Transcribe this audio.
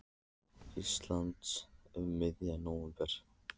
Íslands um miðjan nóvember.